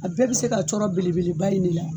A bɛɛ bɛ se ka cɔrɔ belebeleba in de la.